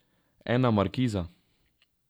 Ena markiza.